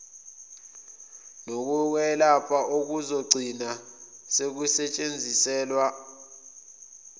nokokwelapha okuzogcina sekusetshenziselwa